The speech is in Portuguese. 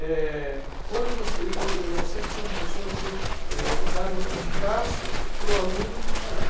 é quando você. Eu eu eu sempre fui um professor que é dava o espaço para o aluno falar.